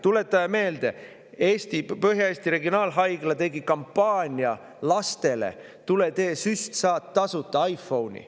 Tuletame meelde, et Põhja-Eesti Regionaalhaigla tegi lastele kampaania, et kui teed süsti, saad tasuta iPhone'i.